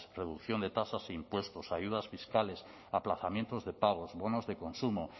reducción de tasas e impuestos ayudas fiscales aplazamientos de pagos bonos de consumo